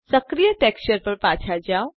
સક્રિય ટેક્સચર પર પાછા જાઓ